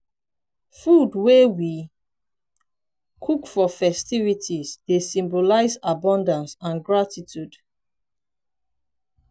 food wey we cook for festivities dey symbolize abundance and gratitude.